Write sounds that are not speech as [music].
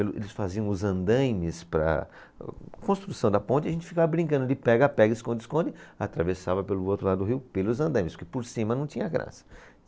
[unintelligible] Eles faziam os andaimes para a construção da ponte e a gente ficava brincando de pega-pega, esconde-esconde, atravessava pelo outro lado do rio pelos andaimes, porque por cima não tinha graça.